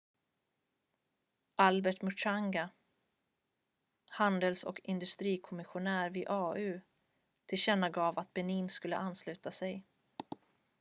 albert muchanga handels- och industrikomissionär vid au tillkännagav att benin skulle ansluta sig